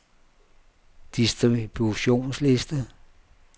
distributionsliste